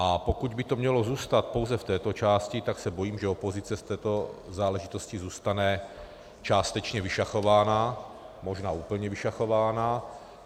A pokud by to mělo zůstat pouze v této části, tak se bojím, že opozice z této záležitosti zůstane částečně vyšachována, možná úplně vyšachována.